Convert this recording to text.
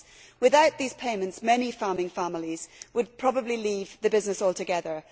Without these payments many farming families would probably leave the business altogether.